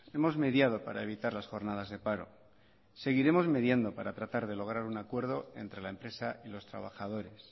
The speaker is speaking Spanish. hemos mediado para evitar las jornadas de paro seguiremos midiendo para tratar de lograr un acuerdo entre la empresa y los trabajadores